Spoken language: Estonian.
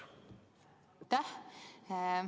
Aitäh!